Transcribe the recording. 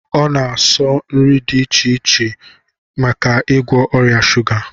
O na-asọ nri dị iche iche maka igwọ ọrịa shuga